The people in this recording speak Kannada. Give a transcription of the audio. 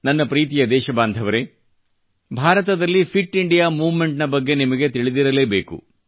ನನ್ನ ಪ್ರೀತಿಯ ದೇಶಬಾಂಧವರೆ ಭಾರತದಲ್ಲಿ ಫಿಟ್ ಇಂಡಿಯಾ ಮೂವ್ಮೆಂಟ್ ನ ಬಗ್ಗೆ ನಿಮಗೆ ತಿಳಿದಿರಲೇಬೇಕು